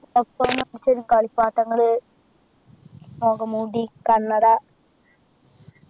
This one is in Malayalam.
ഒക്ക മേടിച്ചു തരും കളിപ്പാട്ടങ്ങൾ മുഖംമൂടി കണ്ണട